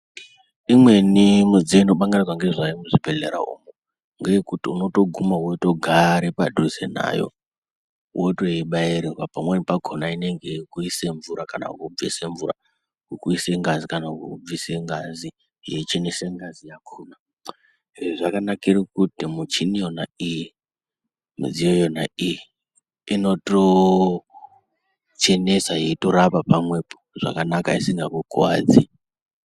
Imweni midziyo inopangirwa ngezvayo muzvibhedhlera umwu ngeyekuti unotoguma wotogara padhuze nayo wotoibairirwa pamweni pakona inenge yekuise mvura kana kubvise mvura kukuise ngazi kana kukubvise ngazi yeichenesa ngazi yakona izvi zvakanira kuti michini yona iyi midziyo yona iyi inotochenesa yeitorapa pamwepo zvakanaka isingakukuwadzi.